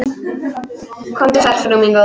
Komdu sæl, frú mín góð.